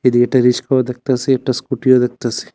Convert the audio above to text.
এদিকে একটা রিক্সাও দেখতাসি একটা স্কুটিও দেখতাসি।